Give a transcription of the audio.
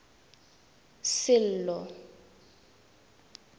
sello